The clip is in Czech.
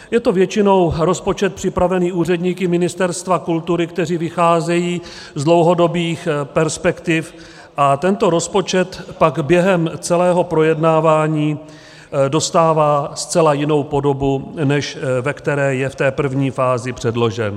Je to většinou rozpočet připravený úředníky Ministerstva kultury, kteří vycházejí z dlouhodobých perspektiv, a tento rozpočet pak během celého projednávání dostává zcela jinou podobu, než ve které je v té první fázi předložen.